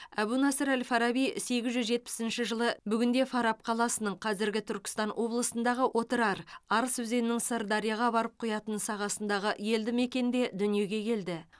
әбу насыр әл фараби сегіз жүз жетпіс жылы бүгінде фараб қаласының қазіргі түркістан облысындағы отырар арыс өзенінің сырдарияға барып құятын сағасындағы елді мекенде дүниеге келді